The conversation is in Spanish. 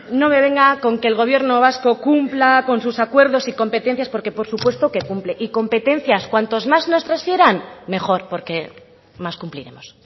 no me venga con que el gobierno vasco cumpla con sus acuerdos y competencias porque por supuesto que cumple y competencias cuantas más nos transfieran mejor porque más cumpliremos